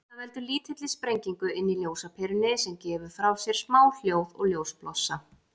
Þetta veldur lítilli sprengingu inni í ljósaperunni, sem gefur frá sér smá hljóð og ljósblossa.